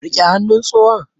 Riƙe hannun tsohon!